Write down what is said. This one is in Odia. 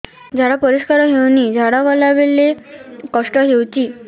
ଝାଡା ପରିସ୍କାର ହେଉନି ଝାଡ଼ା ଗଲା ବେଳେ କଷ୍ଟ ହେଉଚି